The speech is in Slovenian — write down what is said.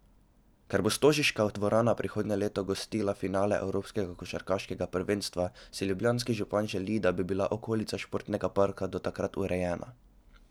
Ker bo stožiška dvorana prihodnje leto gostila finale evropskega košarkarskega prvenstva, si ljubljanski župan želi, da bi bila okolica športnega parka do takrat urejena.